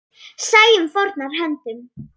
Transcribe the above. Sæunn fórnar höndum.